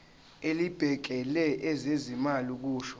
elibhekele ezezimali kusho